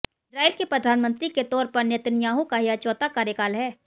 Israel के प्रधानमंत्री के तौर पर नेतन्याहू का यह चौथा कार्यकाल है